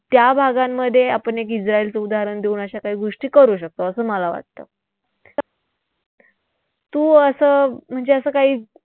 त्या भागांमध्ये आपण एक इस्राईलचं उदाहरण देऊन अशा काही गोष्टी करू शकतो असं मला वाटतं. तू असं म्हणजे असं काही